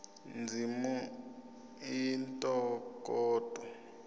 ndzimi i ntokoto